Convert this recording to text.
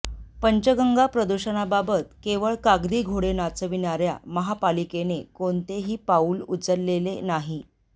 पंचगंगा प्रदुषणाबाबत केवळ कागदी घोडे नाचविणाऱ्या महापालिकेने कोणतेही पाऊल उचलले नाही